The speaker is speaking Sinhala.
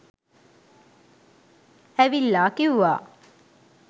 ඇවිල්ලා කිව්වා